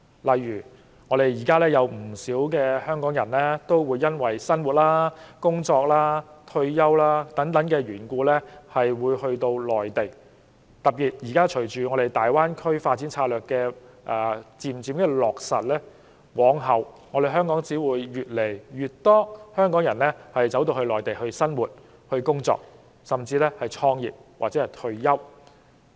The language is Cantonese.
例如，現時有不少香港人基於生活、工作或退休等原因而居於內地；隨着現時粵港澳大灣區發展策略逐漸落實，往後只會有越來越多香港人回到內地生活、工作，甚至創業或退休。